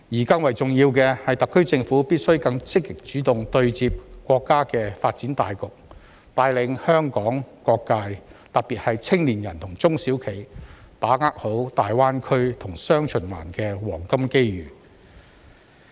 更重要的是，特區政府必須更積極主動對接國家的發展大局，帶領香港各界，特別是青年人和中小企好好把握大灣區和雙循環的黃金機遇。